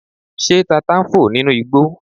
Ṣé tata ń fò nínú igbó